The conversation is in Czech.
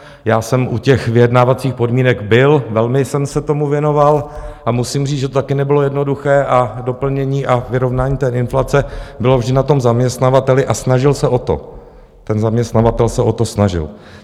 Já jsem u těch vyjednávacích podmínek byl, velmi jsem se tomu věnoval a musím říct, že to taky nebylo jednoduché, a doplnění a vyrovnání té inflace bylo vždy na tom zaměstnavateli a snažil se o to, ten zaměstnavatel se o to snažil.